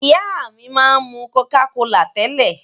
Ìyá mi máa ń mú Coca-Cola tẹ́lẹ̀.